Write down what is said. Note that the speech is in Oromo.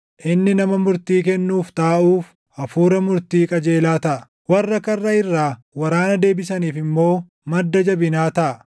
Inni nama murtii kennuuf taaʼuuf hafuura murtii qajeelaa taʼa; warra karra irraa waraana deebisaniif immoo // madda jabinaa taʼa.